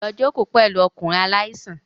Lọ jókòó pẹ̀lú ọkùnrin aláìsàn